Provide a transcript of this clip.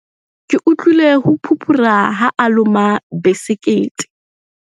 Ke utlwile ho phuphura ha a loma besekete.